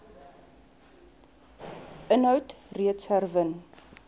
inhoud reeds herwin